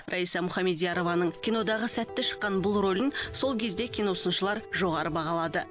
раиса мұхамедиярованың кинодағы сәтті шыққан бұл рөлін сол кезде киносыншылар жоғарғы бағалады